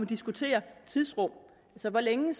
diskutere tidsrum altså hvor længe